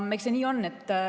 Eks see nii on.